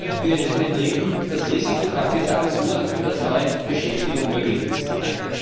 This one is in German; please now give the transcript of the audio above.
Wie können wir in den Betrieben das Risikokapital so erhöhen, dass neue Beschäftigung möglich wird?